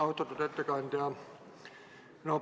Austatud ettekandja!